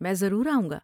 میں ضرور آؤں گا۔